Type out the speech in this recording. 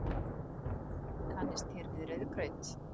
Kannist þér við rauðgraut?